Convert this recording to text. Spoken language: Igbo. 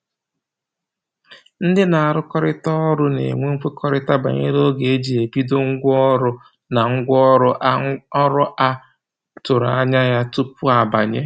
Ndị na-arụkọrịta ọrụ na-enwe mkwekọrịta banyere oge e ji ebido, ngwa ọrụ na ọrụ a ọrụ a tụrụ anya ya tupu a banye